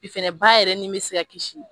fɛnɛ ba yɛrɛ ni be se ka kisi.